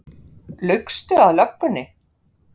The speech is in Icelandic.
Laugstu að löggunni?